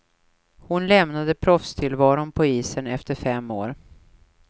Hon lämnade proffstillvaron på isen efter fem år.